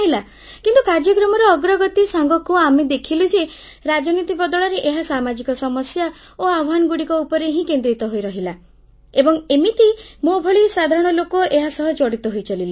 କିନ୍ତୁ କାର୍ଯ୍ୟକ୍ରମର ଅଗ୍ରଗତି ସାଙ୍ଗକୁ ଆମେ ଦେଖିଲୁ ଯେ ରାଜନୀତି ବଦଳରେ ଏହା ସାମାଜିକ ସମସ୍ୟା ଓ ଆହ୍ୱାନଗୁଡ଼ିକ ଉପରେ ହିଁ କେନ୍ଦ୍ରିତ ହୋଇରହିଲା ଏବଂ ଏମିତି ମୋ ଭଳି ସାଧାରଣ ଲୋକ ଏହାସହ ଜଡ଼ିତ ହୋଇଚାଲିଲେ